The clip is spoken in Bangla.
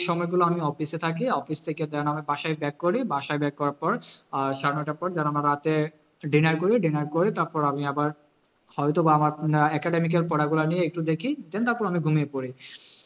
সময় গুলো আমি office এ থাকি office থেকে then আমার বাসায় back করি বাসায় back করার পর আহ সাড়ে নয়টার পর আমার রাতে dinner করি dinner করে তারপর আমি আবার হয়তো বা আমার academic এর পড়াগুলা নিয়ে একটু দেখি then তারপর আমি ঘুমিয়ে পড়ি